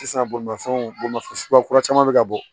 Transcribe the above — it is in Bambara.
Sisan bolimafɛnw bolimafɛn suguya kura caman bɛ ka bɔ